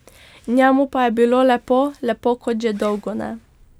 Njemu pa je bilo lepo, lepo kot že dolgo ne.